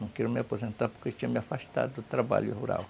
Não queria me aposentar porque tinha me afastado do trabalho rural.